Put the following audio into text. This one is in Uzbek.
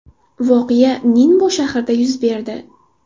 Voqea Ninbo shahrida yuz berdi.